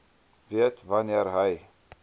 weet wanneer hy